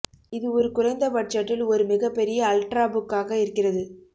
இது ஒரு குறைந்த பட்ஜெட்டில் ஒரு மிகப்பெரிய அல்ட்ராபுக் ஆகா இருக்கிறது